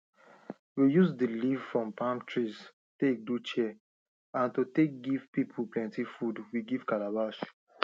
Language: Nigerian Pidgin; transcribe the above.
we use the leaf from palm trees take do chair and to take give people plenty food we give calabash